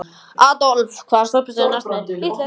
Adolf, hvaða stoppistöð er næst mér?